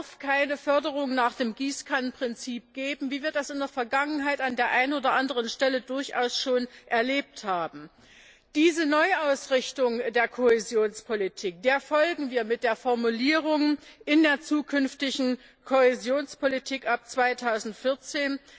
Es darf keine Förderung nach dem Gießkannenprinzip geben, wie wir das in der Vergangenheit an der einen oder anderen Stelle durchaus schon erlebt haben. Dieser Neuausrichtung der Kohäsionspolitik folgen wir mit der Formulierung in der zukünftigen Kohäsionspolitik ab 2014.